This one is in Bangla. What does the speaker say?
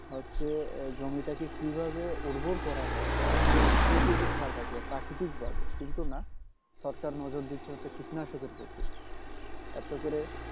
হচ্ছে যে জমিটাকে কিভাবে উর্বর করা যায় সেই দিকে খেয়াল রাখবে প্রাকৃতিক ভাবে কিন্তু না সরকার নজর দিচ্ছে হচ্ছে কীটনাশকের প্রতি এত করে